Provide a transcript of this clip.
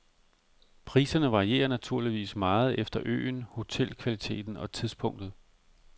Priserne varierer naturligvis meget efter øen, hotelkvaliteten og tidspunktet.